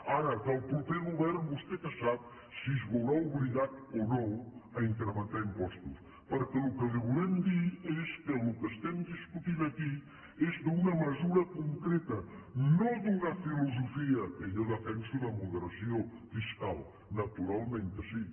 ara del proper govern vostè què sap si es veurà obligat o no a incrementar impostos perquè el que li volem dir és que el que estem discutint aquí és d’una mesura concreta no d’una filosofia que jo defenso de moderació fiscal naturalment que sí